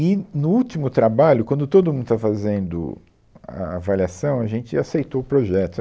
E, no último trabalho, quando todo mundo estava fazendo a avaliação, a gente aceitou o projeto, sabe